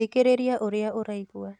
Thikĩrĩria ũrĩa ũraigua